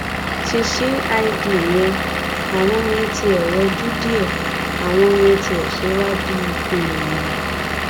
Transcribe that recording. ti cid yẹn àwọn yẹn tiẹ̀ rọjú díẹ àwọn yẹn ti ẹ̀ ṣe wá bíi èèyàn